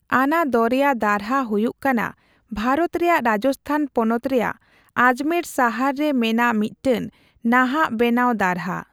ᱟᱱᱟ ᱫᱚᱨᱭᱟ ᱫᱟᱨᱦᱟ ᱦᱩᱭᱩᱜ ᱠᱟᱱᱟ ᱵᱷᱟᱨᱚᱛ ᱨᱮᱭᱟᱜ ᱨᱟᱡᱽᱥᱛᱷᱟᱱ ᱯᱚᱱᱚᱛ ᱨᱮᱭᱟᱜ ᱟᱡᱢᱮᱨ ᱥᱟᱦᱟᱨ ᱨᱮ ᱢᱮᱱᱟᱜ ᱢᱤᱫᱴᱟᱝ ᱱᱟᱦᱟᱜ ᱵᱮᱱᱟᱣ ᱫᱟᱨᱦᱟ ᱾